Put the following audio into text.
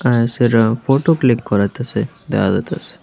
এই ছেলেটা photo click করাইতাসে দেহা যাইতাসে।